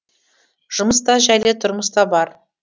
жұмыс та жәйлі тұрмыс та бар